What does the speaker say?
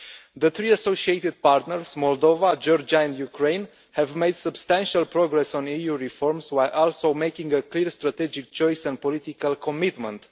The three associated partners, Moldova, Georgia and Ukraine, have made substantial progress on EU reforms while also making a clear strategic choice and political commitment.